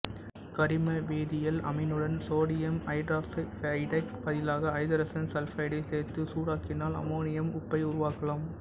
கரிம வேதியியல் அமீனுடன் சோடியம் ஐதரோசல்பைடுக்கு பதிலாக ஐதரசன் சல்பைடை சேர்த்து சூடாக்கினால் அமோனியம் உப்பை உருவாக்கலாம்